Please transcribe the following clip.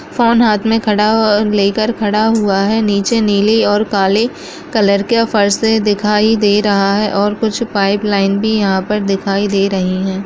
फोन हाथ में खड़ा ह-लेकर खड़ा हुआ है नीचे नीली और काले कलर का फर्स दिखाई दे रहा है और कुछ पाइप लाइन भी यहाँ पर दिखाई दे रही हैं।